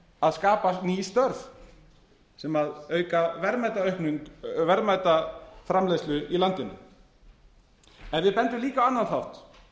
að skapa ný störf sem auka verðmætaframleiðslu í landinu við bendum líka á annan þátt